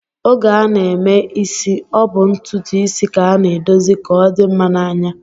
Oge a na-eme isi, ọ bụ ntụtụisi ka a na-edozi ka ọ dị mma n'anya